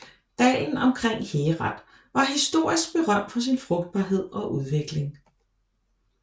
Dalen omkring Herat var historisk berømt for sin frugtbarhed og udvikling